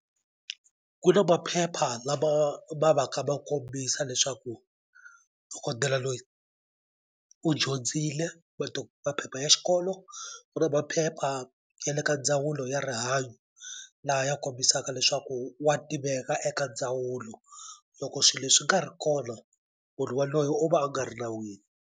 Ku na maphepha lama ma va ka ma kombisa leswaku dokodela loyi u dyondzile maphepha ya xikolo u na maphepha ya le ka ndzawulo ya rihanyo laha ya kombisaka leswaku wa tiveka eka ndzawulo loko swi leswi swi nga ri kona munhu waloye u va a nga ri nawini.